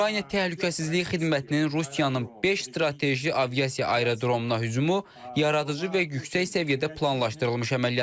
Ukrayna Təhlükəsizlik Xidmətinin Rusiyanın beş strateji aviasiya aerodromuna hücumu yaradıcı və yüksək səviyyədə planlaşdırılmış əməliyyat idi.